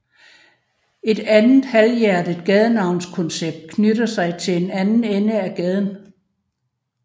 Et andet halvhjertet gadenavnskoncept knytter sig til den anden ende af gaden